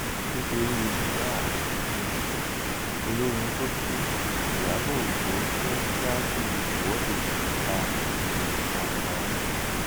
nítorí mohbad um olórin tó kù ìyàbọ ọjọ fẹẹ ṣáájú ìwọde ìta um gbangba